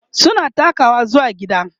suna takawa zuwa gida